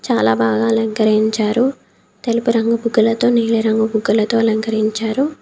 చాలా బాగా అలంకరించారు. తెలుపు రంగు బుగ్గలతో నీలిరంగు బుగ్గలతో అలంకరించారు.